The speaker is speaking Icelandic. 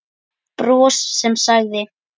Bros sem sagði